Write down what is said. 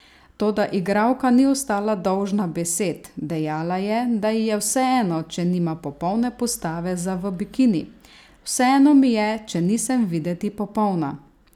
Toda igralka ni ostala dolžna besed, dejala je, da ji je vseeno, če nima popolne postave za v bikini: 'Vseeno mi je, če nisem videti popolna.